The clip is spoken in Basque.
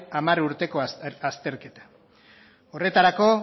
hamar urteko azterketa horretarako